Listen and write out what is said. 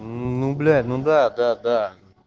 ну блять ну да да да